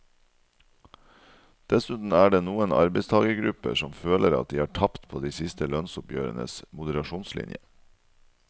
Dessuten er det noen arbeidstagergrupper som føler at de har tapt på de siste lønnsoppgjørenes moderasjonslinje.